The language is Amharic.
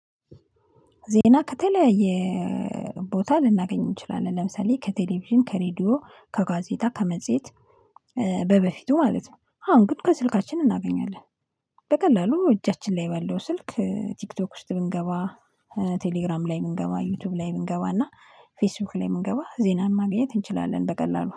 ዜና ከተለያየ ቦታ ልናገኝ እንችላለን። ለምሳሌ ከቴሌቪዥን ከሬዲዮ ከጋዜጣ ከመጽሄት በበፊቱ ማለት ነው። አሁን ግን ከስልካችን እናገኛለን። በቀላሉ እጃችን ላይ ባለው ስልክ ቲክቶክ ውስጥ ብንገባ ቴሌግራም ላይ ብንገባ ዩቲዩብ ላይ ብንገባ እና ፌስቡክ ላይ ብንገባ ዜናን ማግኘት እንችላለን በቀላሉ